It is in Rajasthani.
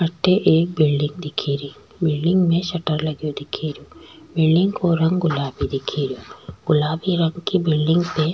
अठे एक बिल्डिंग दिखेरी बिल्डिंग में सटर लगयो दिखेरयो बिल्डिंग को रंग गुलाबी दिखेरयो गुलाबी रंग की बिल्डिंग पे --